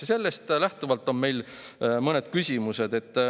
" Ja sellest lähtuvalt on meil mõned küsimused.